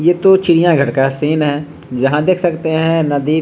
ये तो चिड़ियां घर का सीन है यहाँ देख सकते हैं नदी --